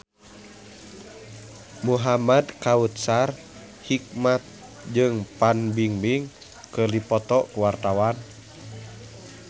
Muhamad Kautsar Hikmat jeung Fan Bingbing keur dipoto ku wartawan